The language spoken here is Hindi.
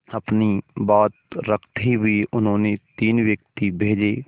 अपनी बात रखते हुए उन्होंने तीन व्यक्ति भेजे